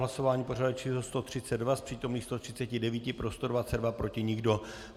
Hlasování pořadové číslo 132, z přítomných 139 pro 122, proti nikdo.